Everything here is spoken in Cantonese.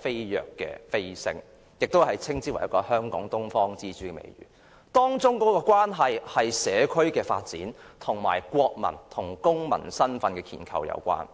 飛躍成長，香港亦獲得東方之珠的美譽，當中與社區發展，以及國民與公民身份的建構有關。